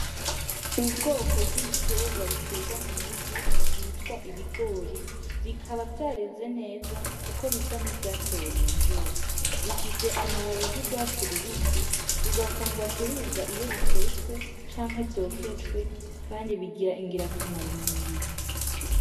Ubwoko bw'ibitegwa bitegwa mwivu vyitwa ibigori bikaba vyareze neza kuko bisa nivyatewe mumvura bifise amababi y' ugwatsi rubisi bigakundwa kuribwa iyo bitetswe canke vyokejwe kandi bigira ingira kamaro mumubiri.